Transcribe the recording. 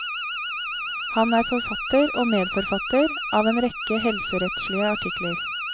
Han er forfatter og medforfatter av en rekke helserettslige artikler.